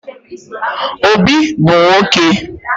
Obi bu nwoke